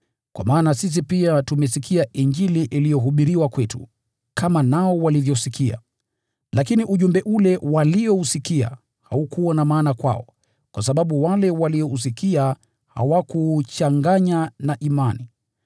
Kwa maana sisi pia tumesikia Injili iliyohubiriwa kwetu, kama nao walivyosikia; lakini ujumbe ule waliousikia haukuwa na maana kwao, kwa sababu wale waliousikia hawakuuchanganya na imani.